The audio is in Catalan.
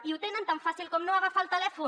i ho tenen tan fàcil com no agafar el telèfon